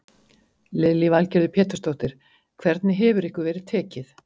Lillý Valgerður Pétursdóttir: Hvernig hefur ykkur verið tekið?